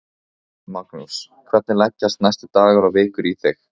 Magnús: Hvernig leggjast næstu dagar og vikur í þig?